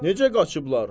Necə qaçıblar?